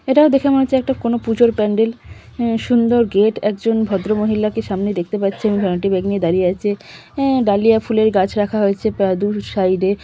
এটাও দেখে মনে হচ্ছে একটা কোন পুজোর প্যান্ডেল। উ সুন্দর গেট । একজন ভদ্রমহিলাকে সামনে দেখতে পাচ্ছে এবং ভ্যানিটি ব্যাগ নিয়ে দাঁড়িয়ে আছে। অ্যা ডালিয়া ফুলের গাছ রাখা হয়েছে প্রা দু সাইড এ।